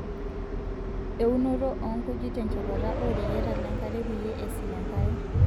Eunoto oonkujit tenchepata ooreyiata lenkare peyie esil enkare.